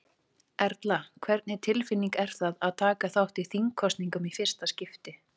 Erla: Hvernig tilfinning er það að taka þátt í þingkosningum í fyrsta skipti?